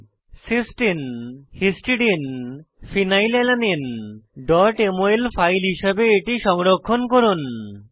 Sistine cystine histidine histidine phenylalanine phenylalanine mol file হিসাবে এটি সংরক্ষণ করুন